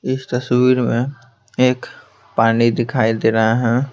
इस तस्वीर में एक पानी दिखाई दे रहा है।